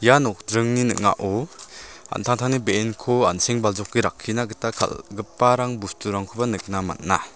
ia nokdringni ning·ao an·tangtangni be·enko an·seng-baljoke rakkina gita kal·giparang bosturangkoba nikna man·a.